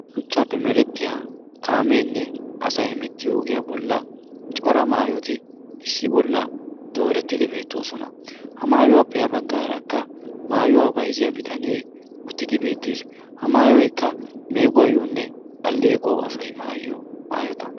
Shuchchaappe merettiya kaameenne asai hemettiyo ogiyaa bolla cora maayoti issi bolla doorettidi beettoosona ha maayuwaa peha baggaarakka maayuwaa baiziya bitanee uttidi beettees. ha maayoykka meeguwaayyoonne aleequwau asai maayiyo maayota